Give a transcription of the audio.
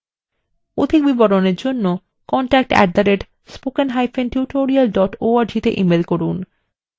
অধিক বিবরণের জন্য contact @spokentutorial org তে ইমেল করুন